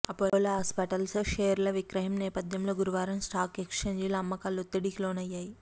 Apollo hospitals షేర్ల విక్రయం నేపథ్యంలో గురువారం స్టాక్ ఎక్స్చేంజీలో అమ్మకాలు ఒత్తిడికి లోనయ్యాయి